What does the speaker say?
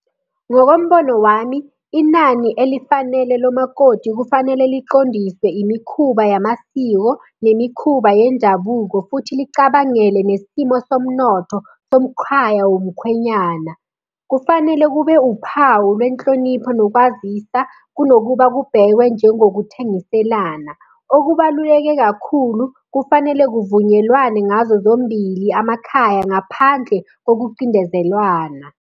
Ngokombono wami, inani elifanele lomakoti kufanele liqondise imikhuba yamasiko nemikhuba yendabuko, futhi licabangele nesimo somnotho somkhaya womkhwenyana. Kufanele kube uphawu lwenhlonipho nokwazisa kunokuba kubhekwe njengokuthengiselana. Okubaluleke kakhulu, kufanele kuvunyelwane ngazo zombili amakhaya ngaphandle kokucindezelwana.